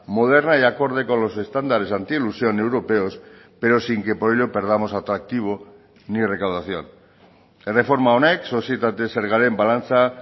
moderna y acorde con los estándares anti elusión europeos pero sin que por ello perdamos atractivo ni recaudación erreforma honek sozietate zergaren balantza